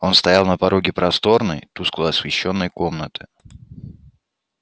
он стоял на пороге просторной тускло освещённой комнаты